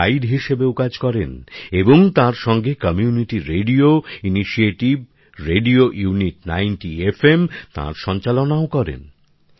এঁরা গাইড হিসেবেও কাজ করেন এবং তার সঙ্গে community radio initiative radio unity ৯০ FM তার সঞ্চালনাও করেন